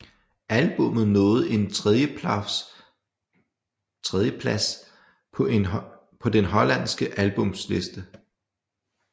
Albummet nåede en tredjeplafs på den hollandske albumliste